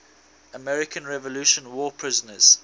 american revolutionary war prisoners